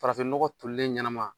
Farafin nɔgɔ tolilen ɲanama.